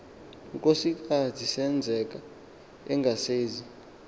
nkosikaz senzeka engasezi